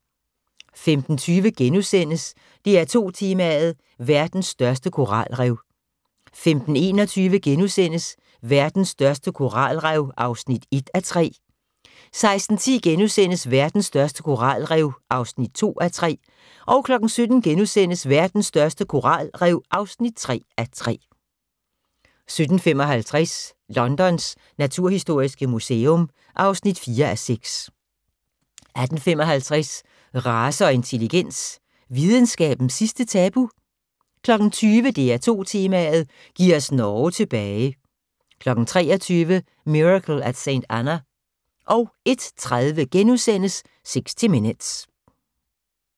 15:20: DR2 Tema: Verdens største koralrev * 15:21: Verdens største koralrev (1:3)* 16:10: Verdens største koralrev (2:3)* 17:00: Verdens største koralrev (3:3)* 17:55: Londons naturhistoriske museum (4:6) 18:55: Race og intelligens – videnskabens sidste tabu? 20:00: DR2 Tema: Giv os Norge tilbage 23:00: Miracle at St. Anna 01:30: 60 Minutes *